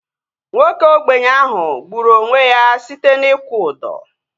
Nwoke ogbenye ahu gburu onwe ya site na ịkwụ ụdọ